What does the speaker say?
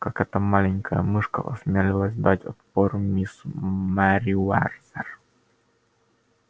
как эта маленькая мышка осмелилась дать отпор мисс мерриуэрзер